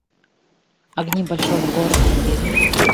огни большого города набери